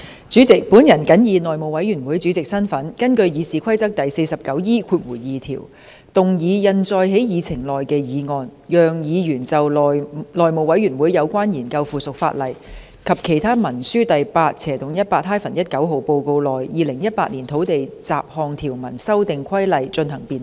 主席，我謹以內務委員會主席的身份，根據《議事規則》第 49E2 條，動議印載在議程內的議案，讓議員就《內務委員會有關研究附屬法例及其他文書的第 8/18-19 號報告》內的《2018年土地規例》進行辯論。